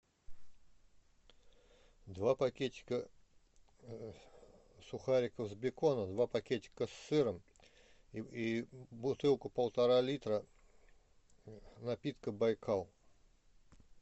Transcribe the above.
два пакетика сухариков с беконом два пакетика с сыром и бутылку полтора литра напитка байкал